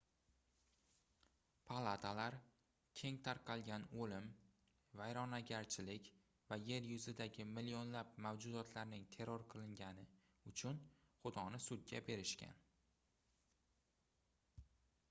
palatalar keng tarqalgan oʻlim vayronagarchilik va yer yuzidagi millionlab mavjudotlarning terror qilingani uchun xudoni sudga berishgan